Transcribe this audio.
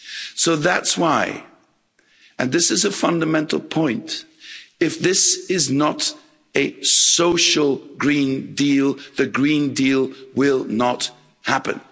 So that's why and this is a fundamental point if this is not a social Green Deal, the Green Deal will not happen.